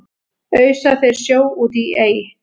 ausa þeir sjó út í ey